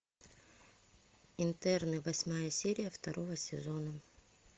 интерны восьмая серия второго сезона